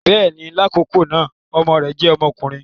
Bẹẹni, lakọkọ na ọmọ rẹ jẹ ọmọkunrin.